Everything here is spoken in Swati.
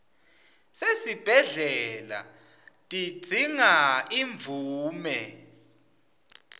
sesibhedlela tidzinga imvume